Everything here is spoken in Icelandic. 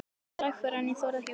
Lægra en ég þori að viðurkenna.